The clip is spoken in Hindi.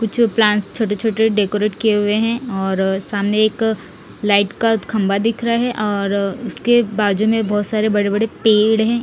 कुछ प्लांट छोटे छोटे डेकोरेट किए हुए हैं और सामने एक लाइट का खंबा दिख रहा है और उसके बाजू में बहुत सारे बड़े-बड़े पेड़ हैं।